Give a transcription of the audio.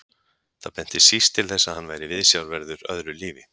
Það benti síst til þess að hann væri viðsjárverður öðru lífi.